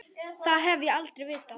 Það hef ég aldrei vitað.